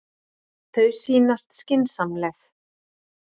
Þau sýnast skynsamleg.